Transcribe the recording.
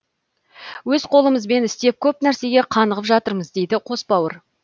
өз қолымызбен істеп көп нәрсеге қанығып жатырмыз дейді қос бауыр